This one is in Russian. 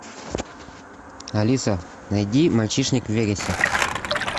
алиса найди мальчишник в вегасе